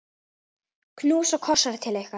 Knús og kossar til ykkar.